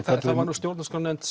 það var nú stjórnarskrárnefnd